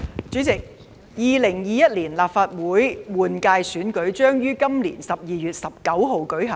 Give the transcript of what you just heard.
主席 ，2021 年立法會換屆選舉將於今年12月19日舉行。